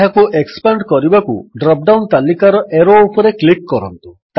ଏହାକୁ ଏକ୍ସପାଣ୍ଡ କରିବାକୁ drop down ତାଲିକାର ଏରୋ ଉପରେ କ୍ଲିକ୍ କରନ୍ତୁ